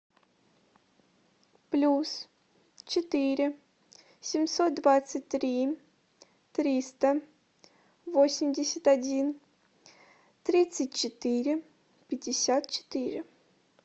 плюс четыре семьсот двадцать три триста восемьдесят один тридцать четыре пятьдесят четыре